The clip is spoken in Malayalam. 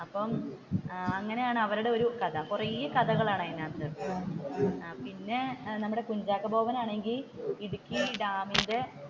അപ്പോ അങ്ങനെയാണ് അവരുടെ ഒരു കഥ കുറെ കഥകളാണ് അതിന്റെയകത്തു പിന്നെ നമ്മുടെ കുഞ്ചാക്കോ ബോബൻ ആണെങ്കിൽ ഇടുക്കി ഡാമിന്റെ,